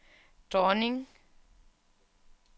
dronning